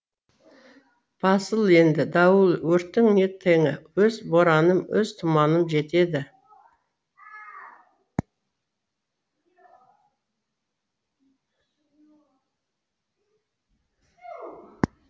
басыл енді дауыл өрттің не теңі өз бораным өз тұманым жетеді